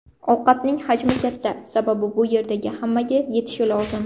Ovqatning hajmi katta, sababi bu yerdagi hammaga yetishi lozim.